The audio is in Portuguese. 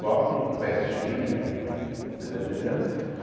Só em festinha, você tá entendendo?